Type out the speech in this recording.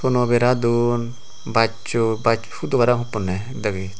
tono bera don bassoi bashudo parapang hupponney degey.